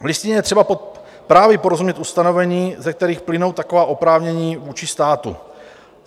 V Listině je třeba právě porozumět ustanovením, ze kterých plynou taková oprávnění vůči státu.